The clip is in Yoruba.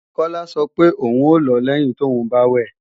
Kọ́lá sọ pé ò ń lọ lẹ́yin tóùn bá wẹ̀